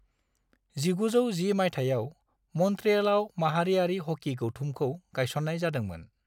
1910 मायथायाव, मन्ट्रियेलाव माहारियारि ह'की गौथुमखौ गायसन्नाय जादोंमोन।